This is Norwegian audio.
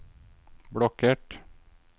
blokkert